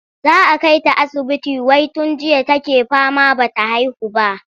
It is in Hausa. Za a kai ta asibiti wai tun jiya take fama ba ta haihu ba.